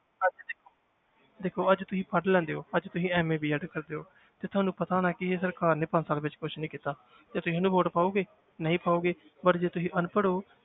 ਦੇਖੋ ਭਾਜੀ ਤੁਸੀਂ ਪੜ੍ਹ ਲੈਂਦੇ ਹੋ ਭਾਜੀ ਤੁਸੀ MABED ਕਰਦੇ ਹੋ ਤੇ ਤੁਹਾਨੂੰ ਪਤਾ ਹੋਣਾ ਕਿ ਇਹ ਸਰਕਾਰ ਨੇ ਪੰਜ ਸਾਲ ਵਿੱਚ ਕੁਛ ਨੀ ਕੀਤਾ ਤੇ ਤੁਸੀਂ ਇਹਨੂੰ vote ਪਾਓਗੇ, ਨਹੀਂ ਪਾਓਗੇ but ਜੇ ਤੁਸੀਂ ਅਨਪੜ੍ਹ ਹੋ,